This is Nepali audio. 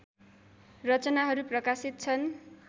रचनाहरू प्रकाशित छन्